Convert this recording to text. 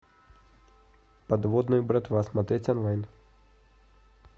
подводная братва смотреть онлайн